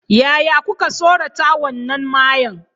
Yaya kuka tsorata wannan mayya?